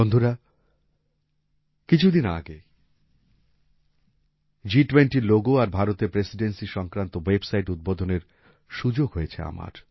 বন্ধুরা কিছু দিন আগেই জিটুয়েন্টির লোগো আর ভারতের প্রেসিডেন্সি সংক্রান্ত ওয়াবসাইট উদ্বোধনের সুযোগ হয়েছে আমার